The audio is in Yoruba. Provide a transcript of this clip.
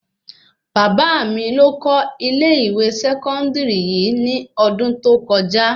Bàbá mí ló kọ́ ilé-ìwé sẹkọndiri yìí nì ọdún tó kọjá